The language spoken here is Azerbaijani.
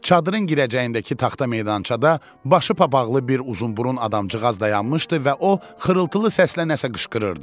Çadırın girəcəyindəki taxta meydançada başı papaqla bir uzunburun adamcıq az dayanmışdı və o xırıltılı səslə nəsə qışqırırdı.